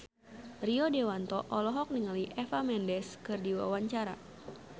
Rio Dewanto olohok ningali Eva Mendes keur diwawancara